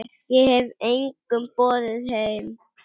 Ég hef engum boðið heim.